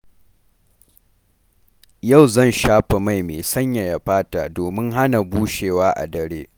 Yau zan shafa mai mai sanyaya fata domin hana bushewa a dare.